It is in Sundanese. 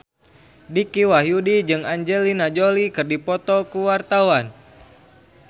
Dicky Wahyudi jeung Angelina Jolie keur dipoto ku wartawan